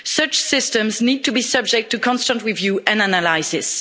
Such systems need to be subject to constant review and analysis.